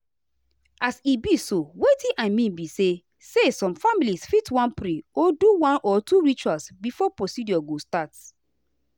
as e be so wetin i mean be say say some families fit wan pray or do one or two rituals before procedure go start.